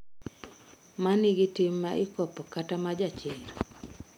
Manigi tim ma ikopo kata ma jachir?